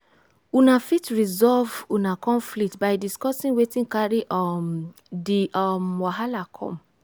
una fit resolve una conflict by discussing wetin carry um di um wahala come